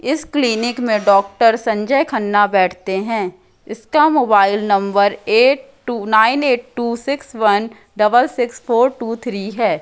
इस क्लीनिक में डॉक्टर संजय खन्ना बैठते हैं इसका mobile number eight two nine eight two six one double six four two three है।